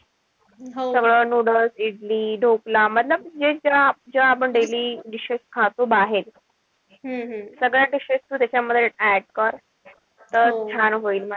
सगळं noodles इडली, ढोकळा जे ज्या आपण daily dishes खातो बाहेर सगळ्या dishes तू त्याच्यामध्ये add कर. तर छान होईल.